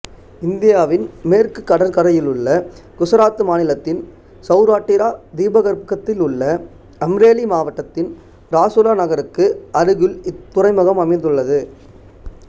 இந்தியாவின் மேற்கு கடற்கரையிலுள்ள குசராத்து மாநிலத்தின் சௌராட்டிரா தீபகற்பத்திலுள்ள அம்ரேலி மாவட்டத்தின் ராசுலா நகருக்கு அருகில் இத்துறைமுகம் அமைந்துள்ளது